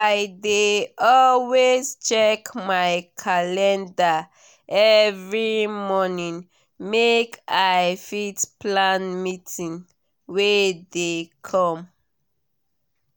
i dey dey always check my calendar every morning make i fit plan meeting wey dey come.